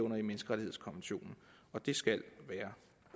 menneskerettighedskonventionen det skal være